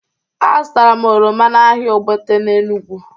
Azụtara m oroma n'ahịa Ogbete n'Enugwu.